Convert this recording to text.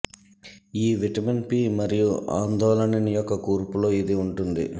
ఈ vitamin P మరియు ఆందోళనిన్ యొక్క కూర్పులో ఇది ఉంటుంది